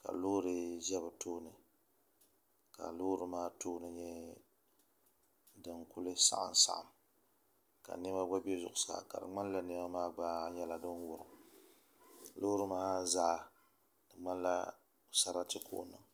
ka loori ʒɛ bi tooni ka loori maa tooni nyɛ din saɣam saɣam ka niɛma gba bɛ zuɣusaa ka di ŋmanila niɛma gba nyɛla din wurim loori maa zaa di ŋmanila sarati n niŋ